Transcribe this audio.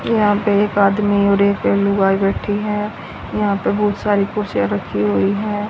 ये यहां पे एक आदमी और एक लुगाई बैठी है यहां पे बहोत सारी कुर्सियां रखी हुई हैं।